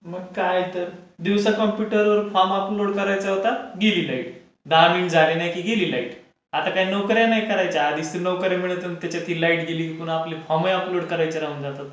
मग काय तर. दिवसा कंप्यूटर वर फॉर्म अपलोड करायचा होता, गेली लाईट. दहा मिनिट झाले नाही की गेली लाईट.